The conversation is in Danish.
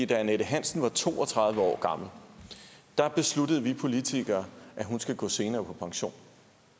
da annette hansen var to og tredive år gammel besluttede vi politikere at hun skulle gå senere på pension